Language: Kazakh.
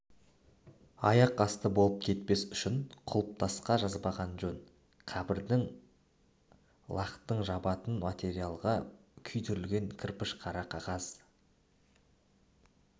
аяқасты болып кетпес үшін құлпытасқа жазбаған жөн қабірдің лақатын жабатын материалға күйдірілген кірпіш қара қағаз